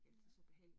Nåh